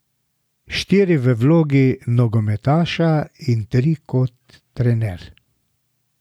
Štiri v vlogi nogometaša in tri kot trener.